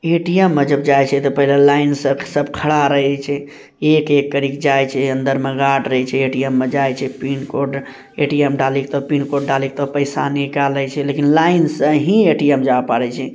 ATM मे जब जाय छै ते पहले लाइन में सब खड़ा रहे छै एक एक कर के जाय छैअंदर मे जाय छै ए_टी_एम में जाय छै पिनकोड ए_टी_एम निकले से लेकिन लाइन से ही ए_टी_एम जा पा रे छै ।